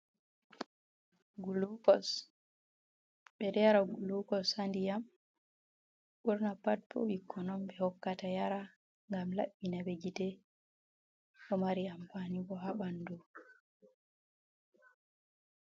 Gulukos, ɓe ɗo yara gulukos handiyam burna pat bo ɓikkon on ɓe hokkata yara ngam labbinabe gite bo mari ampani bo habandu.